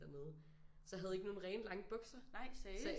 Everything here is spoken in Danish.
Dernede så jeg havde ikke nogle rene lange bukser så jeg